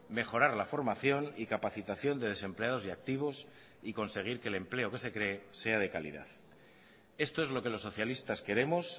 mejorar la formación y capacitación de desempleados y activos y conseguir que el empleo que se cree sea de calidad esto es lo que los socialistas queremos